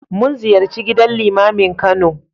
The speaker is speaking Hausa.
Mun ziyarci gidan Limamin Kano.